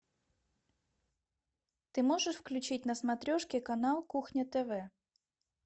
ты можешь включить на смотрешке канал кухня тв